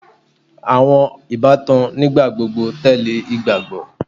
awọn ibatan nigbagbogbo tẹle igbagbọ